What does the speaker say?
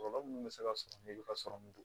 Kɔlɔlɔ minnu bɛ se ka sɔrɔ ka sɔrɔmu don